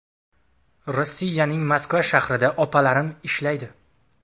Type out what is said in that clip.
Rossiyaning Moskva shahrida opalarim ishlaydi.